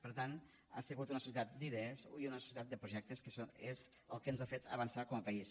per tant ha sigut una societat d’idees i una societat de projectes que és el que ens ha fet avançar com a país